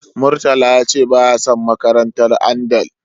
Murtala ya ce baya son makarantar Andal.